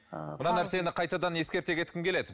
ы мына нәрсені қайтадан ескерте кеткім келеді